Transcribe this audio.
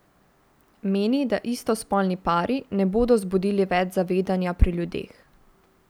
Meni, da istospolni pari ne bodo zbudili več zavedanja pri ljudeh.